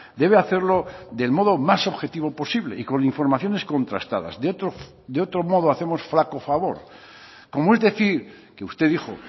debe hacerlo del modo más objetivo posible y con informaciones contrastadas de otro modo hacemos flaco favor como es decir que usted dijo